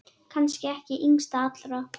Kannski ekki yngst allra.